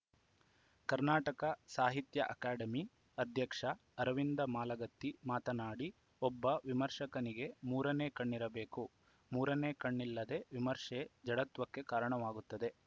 Karnataka Sahitya academy ಅಧ್ಯಕ್ಷ ಅರವಿಂದ ಮಾಲಗತ್ತಿ ಮಾತನಾಡಿ ಒಬ್ಬ ವಿಮರ್ಶಕನಿಗೆ ಮೂರನೇ ಕಣ್ಣಿರಬೇಕು ಮೂರನೇ ಕಣ್ಣಿಲ್ಲದ ವಿಮರ್ಶೆ ಜಡತ್ವಕ್ಕೆ ಕಾರಣವಾಗುತ್ತದೆ